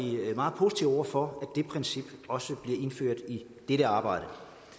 meget positive over for det princip også bliver indført i dette arbejde